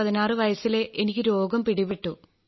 16 വയസ്സിലേ എനിക്ക് രോഗം പിടിപെട്ടു